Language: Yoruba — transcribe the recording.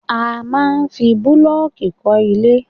A máa ń fi bulooki kọ́ ilẹ̀